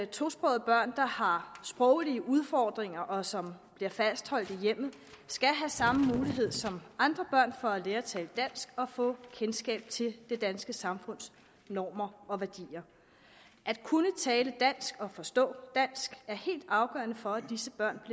tosprogede børn der har sproglige udfordringer og som bliver fastholdt i hjemmet skal have samme mulighed som andre børn for at lære at tale dansk og få kendskab til det danske samfunds normer og værdier at kunne tale dansk og forstå dansk er helt afgørende for at disse børn